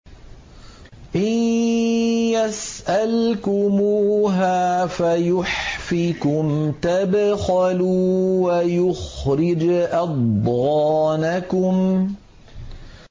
إِن يَسْأَلْكُمُوهَا فَيُحْفِكُمْ تَبْخَلُوا وَيُخْرِجْ أَضْغَانَكُمْ